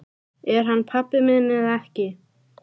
Er hann pabbi minn eða ekki?